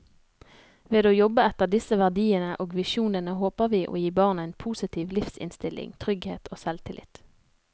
Ved å jobbe etter disse verdiene og visjonene håper vi å gi barna en positiv livsinnstilling, trygghet og selvtillit.